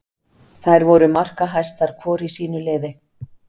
Þær voru markahæstar hvor í sínu liði.